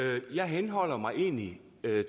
jeg